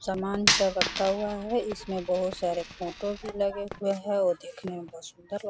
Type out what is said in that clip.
सामान सब रखा हुआ है इसमें बहुत सारे फोटो भी लगे हुए है और देखने में बहुत सुंदर --